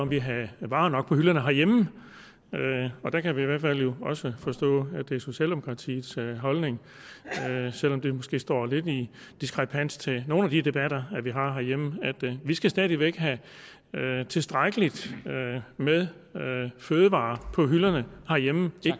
vi havde varer nok på hylderne herhjemme og der kan vi jo i også forstå at det er socialdemokratiets holdning selv om det måske står lidt i diskrepans til nogle af de debatter vi har herhjemme vi skal stadig væk have tilstrækkeligt med fødevarer på hylderne herhjemme